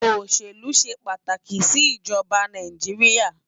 Oṣélú ṣé pátáki si Ijòbá Náijiriá